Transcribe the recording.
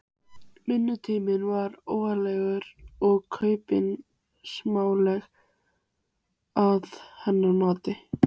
Vinnutíminn var óreglulegur og kaupið smánarlegt, að hennar mati.